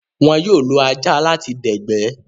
Wón yóò lo ajá láti dẹ̀gbẹ́